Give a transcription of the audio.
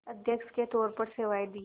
अध्यक्ष के तौर पर सेवाएं दीं